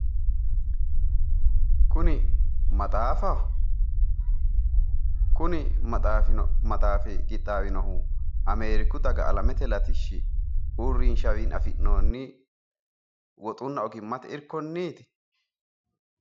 kuni maxaafaho? kuni maxaafi qixxaawinohu ameeriku daga alamete latishshi uurrinshawiinni afinnoonni woxunna ogimmate irkonniiti irkonniiti?